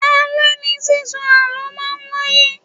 Alẹ̀ ní sísọ àlọ́ máa ń wáyé